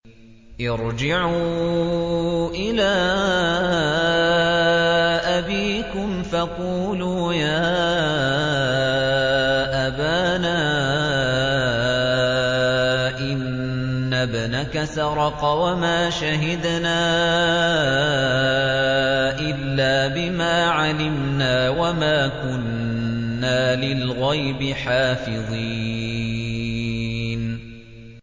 ارْجِعُوا إِلَىٰ أَبِيكُمْ فَقُولُوا يَا أَبَانَا إِنَّ ابْنَكَ سَرَقَ وَمَا شَهِدْنَا إِلَّا بِمَا عَلِمْنَا وَمَا كُنَّا لِلْغَيْبِ حَافِظِينَ